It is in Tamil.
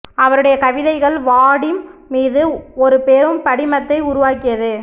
அவருடைய கவிதைகள் வாடிம் மீது ஒரு பெரும் படிமத்தை உருவாக்கியது